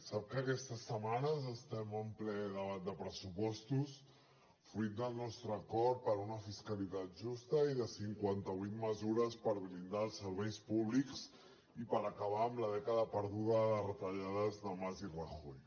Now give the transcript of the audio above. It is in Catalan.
sap que aquestes setmanes estem en ple debat de pressupostos fruit del nostre acord per una fiscalitat justa i de cinquanta vuit mesures per blindar els serveis públics i per acabar amb la dècada perduda de retallades de mas i rajoy